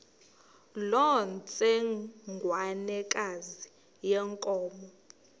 loo ntsengwanekazi yenkomo